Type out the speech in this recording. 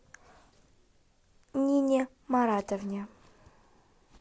нине маратовне